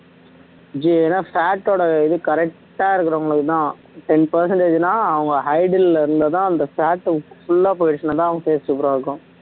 ஜீ ஏன்னா fat ஓட இது correct ஆ இருக்கிறவங்களுக்கு தான் ten percentage னா அவங்க இருந்துதான் அந்த fat full ஆ போயிடுச்சுன்னா தான் அவங்க face super ஆ இருக்கும்